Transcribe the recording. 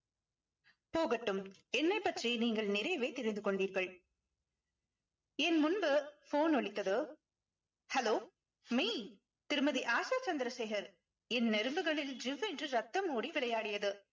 போகட்டும் என்னை பற்றி நீங்கள் நிறையவே தெரிந்து கொண்டீர்கள் என் முன்பு phone ஒலித்ததோ hello மெய் திருமதி ஆஷா சந்திரசேகர் என் நரம்புகளில் ஜிவ்வென்று ரத்தம் ஓடி விளையாடியது